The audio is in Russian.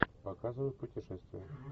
показывай путешествия